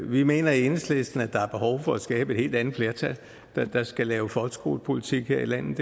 vi mener i enhedslisten at der er behov for at skabe et helt andet flertal der skal lave folkeskolepolitik her i landet